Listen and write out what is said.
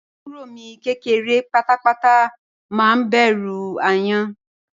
Àbúrò mi kékeré pátápátá má ń bẹ̀rù ááyán